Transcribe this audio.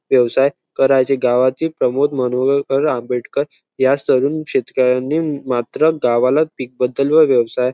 व्यवसाय करायचे गावाचे प्रमुख माणहोळकर आंबेडकर या तरुण शेतकऱ्यांनी मात्र गावाला पीक बद्दल व व्यवसाया--